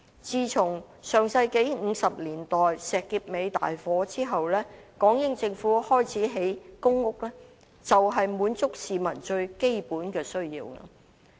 自從上世紀50年代石硤尾大火後，港英政府開始興建公屋，便是要滿足市民最基本的需要。